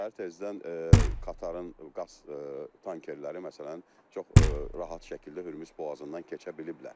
Səhər tezdən Qətərin qaz tankerləri məsələn çox rahat şəkildə Hörmüz boğazından keçə biliblər.